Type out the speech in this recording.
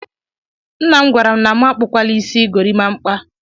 Nnam gwara m na mụ akpụkwala isi gorimakwa